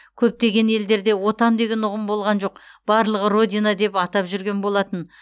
көптеген елдерде отан деген ұғым болған жоқ барлығы родина деп атап жүрген болатын